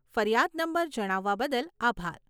ફરિયાદ નંબર જણાવવા બદલ આભાર.